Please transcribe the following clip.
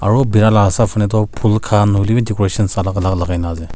aru bia laga saf hoile toh phool khan hoile bhi decoration alag alag ase.